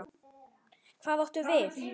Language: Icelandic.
Hvað áttu við?